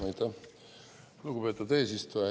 Aitäh, lugupeetud eesistuja!